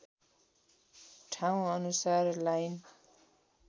ठाउँ अनुसार लाइन